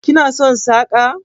Kana son saƙa?